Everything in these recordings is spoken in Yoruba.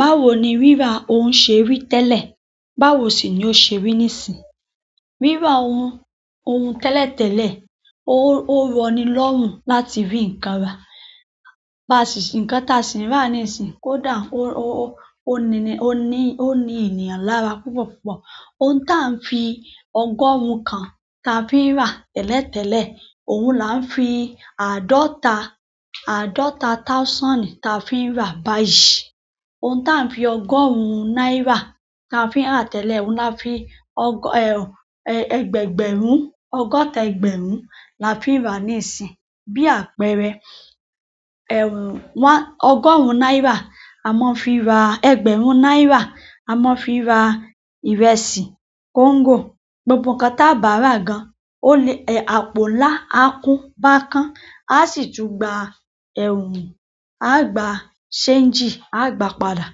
Báwo ni rírà ó se rí tẹ́lẹ̀ báwo sì ni ó ṣe rí nisinyi? Rírà ohun, ohun tẹ́lẹ̀tẹ́lẹ̀, ó, ó rọ ni lọ́rùn láti rí nǹkan rà. Ba si nǹkan táa sì ń rà níìsín, kódà ó, ó, ó ni, ó ní, ó ní ènìyàn lára púpọ̀púpọ̀. Ohun táa ń fi ọgọ́rùn kan ta fi ń rà tẹ́lẹ̀tẹ́lẹ̀, òun la ń fi àádọ́ta, àádọ́ta thousand ta fi ń rà báyìí. Ohun táa ń fi ọgọ́rùn náírà ta fi ń rà tẹ́lẹ̀, òun la fi ọgọ́, ẹgbẹ̀ẹgbẹ̀rún, ọgọ́ta ẹgbẹ̀rún la fi ń rà níìsín. Bí àpẹẹrẹ, ọgọ́rùn náírà a máa ń fi ra, ẹgbẹ̀rún náírà a máa ń fi ra ìrẹsì, kóńgò, gbogbo nǹkan táa bá rà gan. Ó lè, àpò ńlá, á kún bákán, a sì tún gba, á gba ṣeéńjì, a gba padà.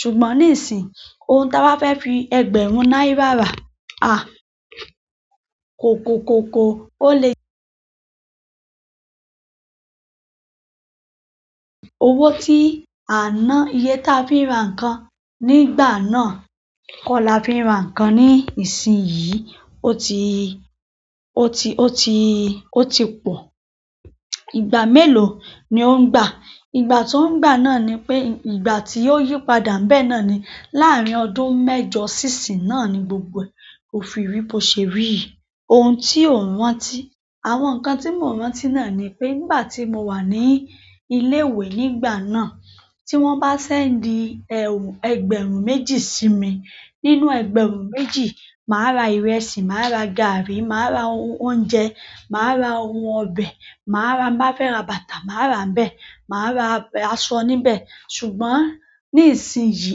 Ṣùgbọ́n nísìí, ohun táa bá fẹ́ fi ẹgbẹ̀rún náírà rà, a, kòko kòkò ó lè. Owó tí a n ná, iye tí a fi ń ra nǹkan nígbà náà kọ́ la fi ń ra nǹkan ní ìsìnyí. O ti, o ti, o ti, o ti pọ̀. Ìgbà mélòó ni ó ń gbà? Ìgbà tó n gbà náà ni pé ìgbà tí ó yí padà ńbẹ̀ náà ni láàrin ọdún mẹ́jọ sí isinyi náà ní gbogbo ẹ̀. O fi rí bí ó ṣe rí yí. Ohun tí ò n rántí. Àwọn ǹkan tí mò n rántí náà ni pé nígbà tí mo wà ní ilé ìwé nígbà náà. Tí wọ́n bá sẹ́ńdì, ẹgbẹ̀rún méjì sí mi, nínú ẹgbẹ̀rún méjì, màá ra ìrẹsì, màá ra gàárì, màá ra oun oúnjẹ, màá ra oun ọbẹ̀, màá ra, tí n bá fẹ́ ra bàtà màá ra níbẹ̀, màá ra aṣọ níbẹ̀. Ṣùgbọ́n nisinyi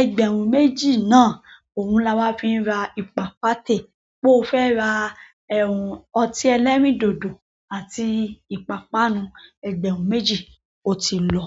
ẹgbẹ̀rún méjì náà òun ni a máa n fí ra ìpápátè. Bí ó fẹ́ ra, ọtí ẹlẹ́rìndòdò àti ìpápánu ẹgbẹ̀rún méjì ó ti lọ.